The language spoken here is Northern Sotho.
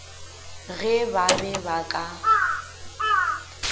ge ba be ba ka